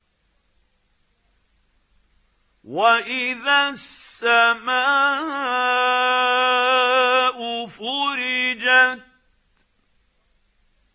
وَإِذَا السَّمَاءُ فُرِجَتْ